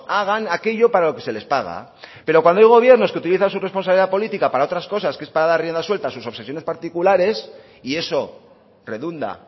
hagan aquello para lo que se les paga pero cuando hay gobiernos que utilizan su responsabilidad política para otras cosas que es para dar rienda suelta a sus obsesiones particulares y eso redunda